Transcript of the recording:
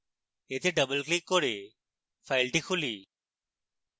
এতে double click করে file খুলি